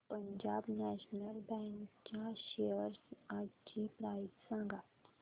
Punjab national bank च्या shares आजची price सांगा